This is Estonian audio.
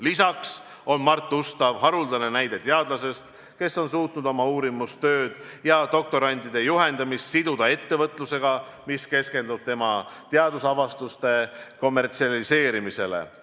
Lisaks on Mart Ustav haruldane näide teadlasest, kes on suutnud oma uurimistööd ja doktorantide juhendamist siduda ettevõtlusega, mis keskendub tema teadusavastuste kommertsialiseerimisele.